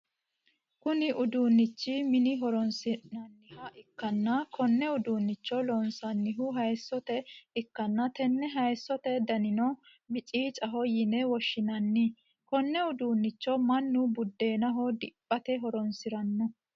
Kunni uduunichi mine horoonsi'nanniha ikanna Konne uduunicho loonsannihu hayisote ikanna tenne hayisote dannino miciicaho yinne woshinnanni konne uduunicho mannu budeennaho diphate horoonsirano.